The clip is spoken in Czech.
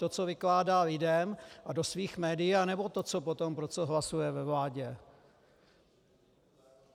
To, co vykládá lidem a do svých médií, anebo to, co potom, pro co hlasuje ve vládě?